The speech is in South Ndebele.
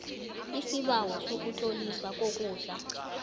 isibawo sokutloliswa kokudla